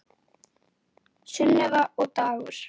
Sunneva og Dagur.